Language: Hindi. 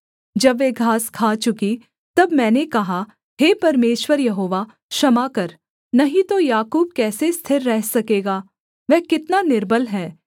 जब वे घास खा चुकीं तब मैंने कहा हे परमेश्वर यहोवा क्षमा कर नहीं तो याकूब कैसे स्थिर रह सकेगा वह कितना निर्बल है